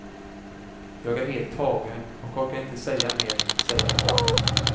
Jag är helt tagen och orkar inte säga mer, säger han.